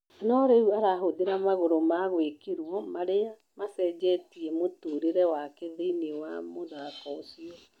No rĩu arahũthĩra magũrũ ma gwĩkirwo marĩa macenjetie mũtũrĩre wake thĩiniĩ wa mũthako ũcio.